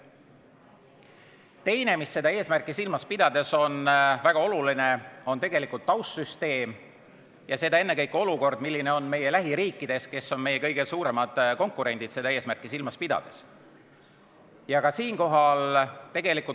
Teine, mis seda eesmärki silmas pidades on väga oluline, on taustsüsteem, ennekõike olukord, mis on meie lähiriikides, kes on meie kõige suuremad konkurendid seda eesmärki silmas pidades.